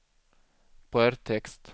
brödtext